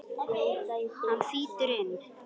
Hann þýtur inn.